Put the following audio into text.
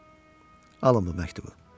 Bəli, alın bu məktubu.